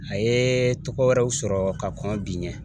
A ye tɔgɔ wɛrɛw sɔrɔ ka kɔn bi ɲɛ